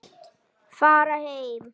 Fara heim!